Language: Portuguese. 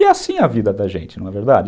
E é assim a vida da gente, não é verdade?